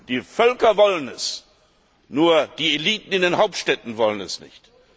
Die Völker wollen es, nur die Eliten in den Hauptstädten wollen es nicht.